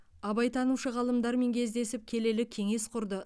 абайтанушы ғалымдармен кездесіп келелі кеңес құрды